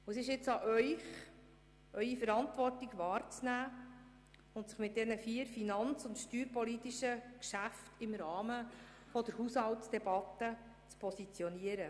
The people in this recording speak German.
Es liegt nun an Ihnen, Ihre Verantwortung wahrzunehmen und sich in den vier finanz- und steuerpolitischen Geschäften im Rahmen der Haushaltsdebatte zu positionieren.